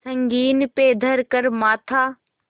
संगीन पे धर कर माथा